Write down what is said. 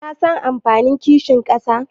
Kasan amfanin kishin ƙasa?